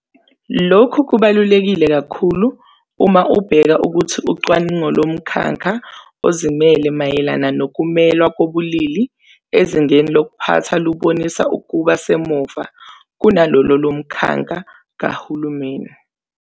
Lokhu kubaluleke kakhulu uma ubheka ukuthi ucwaningo lomkhakha ozimele mayelana nokumelwa kobulili ezingeni lokuphatha lubonisa ukuba semuva kunalolo lomkhakha kahulumeni.